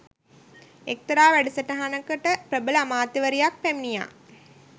එක්තරා වැඩසටහනකට ප්‍රබල අමාත්‍යවරියක් පැමිණියා